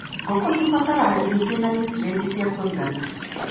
Ngũkũ cibataraga irio cina nutrienti cia kũigana.